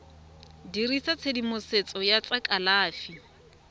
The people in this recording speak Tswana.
dirisa tshedimosetso ya tsa kalafi